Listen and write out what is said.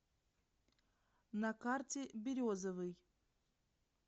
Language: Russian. на карте березовый